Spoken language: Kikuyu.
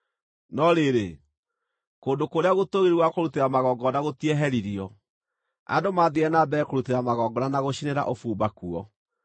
No rĩrĩ, kũndũ kũrĩa gũtũũgĩru gwa kũrutĩra magongona gũtieheririo; andũ mathiire na mbere kũrutĩra magongona na gũcinĩra ũbumba kuo.